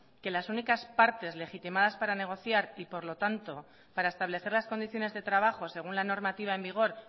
que las únicas partes legitimadas para negociar y por lo tanto para establecer las condiciones de trabajo según la normativa en vigor